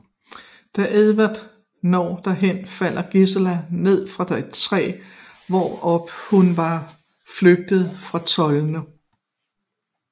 Da Edward når derhen falder Giselle ned fra et træ hvorop hun var flygtet fra trolden